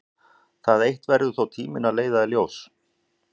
Það eitt verður tíminn þó að leiða í ljós.